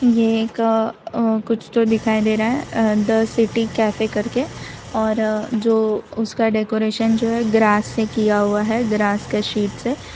ये एक अ कुछ तो दिखाई दे रहा है द सिटी कैफे करके और अ जो उसका डेकोरेशन जो है ग्रास से किया हुआ है ग्रास के शीट के से --